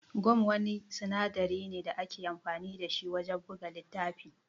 Gam Wani sinadari ne da ake amfani da shi wajan buga littafi